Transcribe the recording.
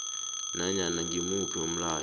nanyana ngimuphi umlayo